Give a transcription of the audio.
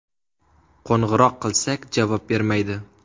Qo‘ng‘iroq qilsak, javob bermaydi.